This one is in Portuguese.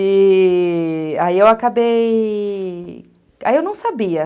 E.. aí eu acabei... Aí eu não sabia.